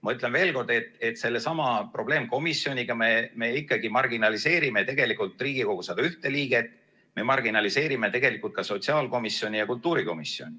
Ma ütlen veel kord, et sellesama probleemkomisjoniga me ikkagi marginaliseerime Riigikogu 101 liiget, me marginaliseerime ka sotsiaalkomisjoni ja kultuurikomisjoni.